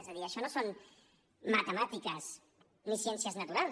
és a dir això no són matemàtiques ni ciències naturals